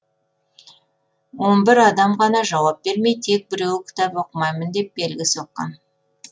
он бір адам ғана жауап бермей тек біреуі кітап оқымаймын деп белгі соққан